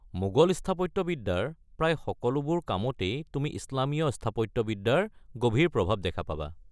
মোগল স্থাপত্যবিদ্যাৰ প্ৰায় সকলোবোৰ কামতেই তুমি ইছলামীয় স্থাপত্যবিদ্যাৰ গভীৰ প্ৰভাৱ দেখা পাবা।